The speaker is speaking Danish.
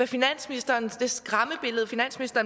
finansministeren